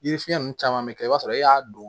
Yiri fiɲɛ nunnu caman bɛ kɛ i b'a sɔrɔ e y'a don